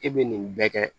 E bɛ nin bɛɛ kɛ